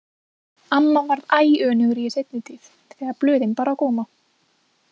Amma varð æ önugri í seinni tíð þegar blöðin bar á góma.